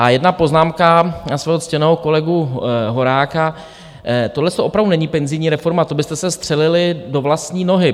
A jedna poznámka na svého ctěného kolegu Horáka - tohleto opravdu není penzijní reforma, to byste se střelili do vlastní nohy.